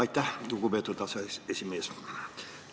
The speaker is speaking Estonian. Aitäh, lugupeetud aseesimees!